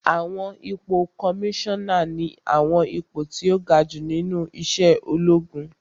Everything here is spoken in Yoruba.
Àwọn ipò kọmísánà ní àwọn ipò tó ga jù nínú iṣẹ́ ológun